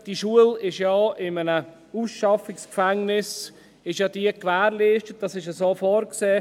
Die Schule ist auch in einem Ausschaffungsgefängnis gewährleistet, dies ist so vorgesehen.